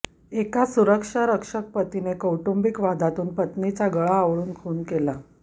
एका सुरक्षारक्षक पतीने कौटुंबिक वादातून पत्नीचा गळा आवळून खून केला